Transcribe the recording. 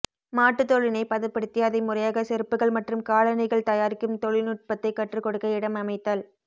மாட்டு தோலினை பதப்படுத்தி அதை முறையாக செருப்புகள் மற்றும் காலணிகள் தயாரிக்கும் தொழில்நுட்பத்தை கற்றுக் கொடுக்க இடம் அமைத்தல்